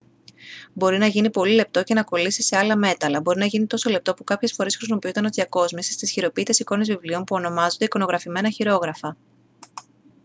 μπορεί να γίνει πολύ λεπτό και να κολλήσει σε άλλα μέταλλα. μπορεί να γίνει τόσο λεπτό που κάποιες φορές χρησιμοποιούταν ως διακόσμηση στις χειροποίητες εικόνες βιβλίων που ονομάζονται «εικονογραφημένα χειρόγραφα»